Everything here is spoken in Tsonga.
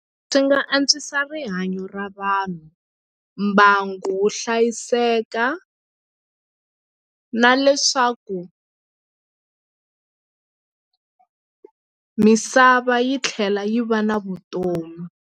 Swi nga antswisa rihanyo ra vanhu mbangu wu hlayiseka na leswaku misava yi tlhela yi va na vutomi.